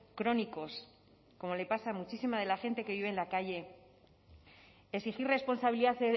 crónicos como le pasa a muchísima de la gente que vive en la calle exigir responsabilidad